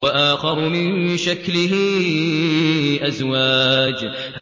وَآخَرُ مِن شَكْلِهِ أَزْوَاجٌ